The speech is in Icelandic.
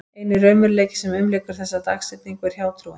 Eini raunveruleikinn sem umlykur þessa dagsetningu er hjátrúin.